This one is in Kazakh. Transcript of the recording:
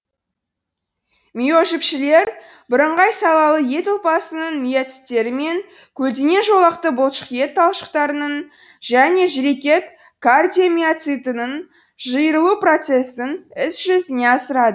миожіпшелер бірыңғай салалы ет ұлпасының миоциттері мен көлденең жолақты бұлшықет талшықтарының және жүрекет кардиомиоцитінің жиырылу процесін іс жүзіне асырады